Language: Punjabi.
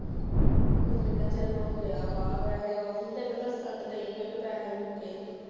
ਕਿੰਨਾ ਚਿਰ ਹੋ ਗਿਆ। ਤੈਨੂੰ ਦੱਸਣ ਤਾਂ ਰਹੀ ਵੀ ਪੈਸੇ ਮੁੱਕੇ ਸੀ।